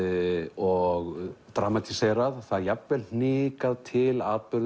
og dramatíserað það er jafnvel hnikað til atburðum